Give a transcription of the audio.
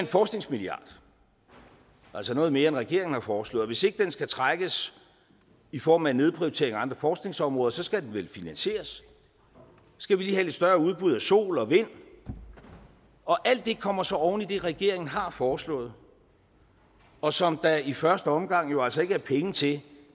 forskningsmilliard altså noget mere end regeringen har foreslået og hvis ikke den skal trækkes i form af en nedprioritering af andre forskningsområder så skal den vel finansieres så skal vi lige have et større udbud af sol og vind og alt det kommer så oven i det regeringen har foreslået og som der i første omgang jo altså ikke er penge til